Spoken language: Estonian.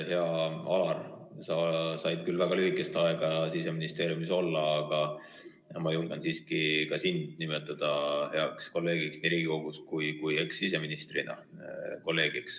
Hea Alar, sa said küll väga lühikest aega Siseministeeriumis olla, aga ma julgen siiski ka sind nimetada heaks kolleegiks nii Riigikogus kui kolleegiks ka ekssiseministrina.